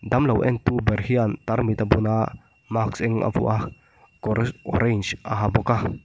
damlo en tu ber hian tarmit a bun a mask eng a vuah a kawr orange a ha bawk a.